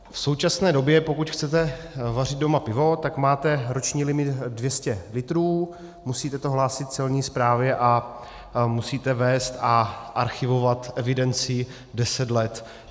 V současné době, pokud chcete vařit doma pivo, tak máte roční limit 200 litrů, musíte to hlásit Celní správě a musíte vést a archivovat evidenci deset let.